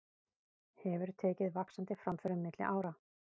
Hefur tekið vaxandi framförum milli ára.